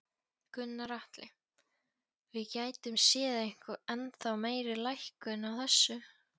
Gunnar Atli: Við gætum séð ennþá meiri lækkun á þessu?